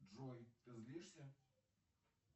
джой ты злишься